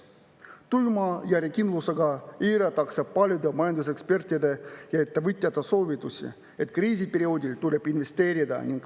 Tuima järjekindlusega eiratakse paljude majandusekspertide ja ettevõtjate soovitusi, et kriisiperioodil tuleb investeerida.